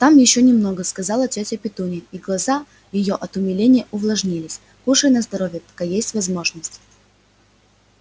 там ещё немного сказала тётя петунья и глаза её от умиления увлажнились кушай на здоровье пока есть возможность